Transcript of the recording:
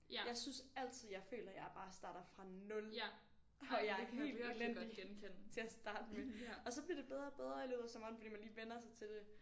Jeg synes altid jeg føler jeg bare starter fra 0 og jeg er helt elendig til at starte med og så bliver det bedre og bedre i løbet af sommeren fordi man lige vender sig til det